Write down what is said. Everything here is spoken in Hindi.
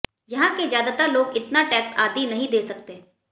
यहां के ज्यादातर लोग इतना टैक्स आदि नहीं दे सकते